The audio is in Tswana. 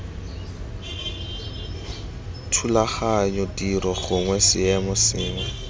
thulaganyo tiro gongwe seemo sengwe